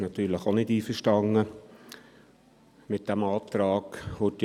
Natürlich ist die EVP auch nicht mit diesem Antrag einverstanden.